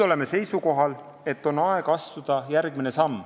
Oleme seisukohal, et nüüd on aeg astuda järgmine samm.